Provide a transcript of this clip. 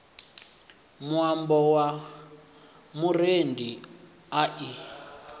muambo ye murendi a i